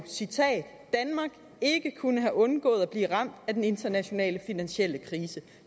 citat at kunne have undgået at blive ramt af den internationale finansielle krise